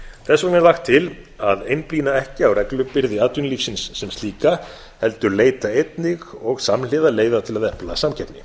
þess vegna er lagt til að einblína ekki á reglubyrði atvinnulífsins sem slíka heldur leita einnig og samhliða leiða til að efla samkeppni